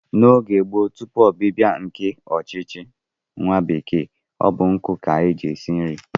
N'oge gboo tupu ọbịbịa ndị ọchịchị nwa bekee, ọ bụ nkụ ka e ji esi nri